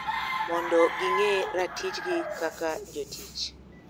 Mondo ging`e ratichgi kaka jotich.